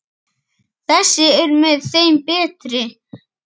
Þessi er með þeim betri.